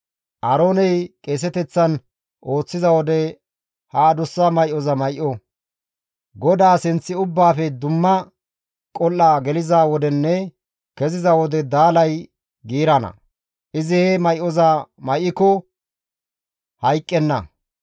Aarooney qeeseteththan ooththiza wode ha adussa may7oza may7o; GODAA sinth ubbaafe dumma qol7a geliza wodenne keziza wode daalay giirana. Izi he may7oza may7iko hayqqenna.